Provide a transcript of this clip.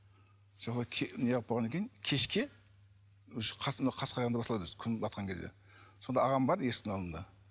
неғып болғаннан кейін кешке қас қарайғанда басталады өзі күн батқан кезде сонда ағам бар есіктің алдында